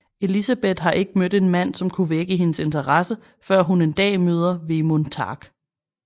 Elisabeth har ikke mødt en mand som kunne vække hendes interesse før hun en dag møder Vemund Tark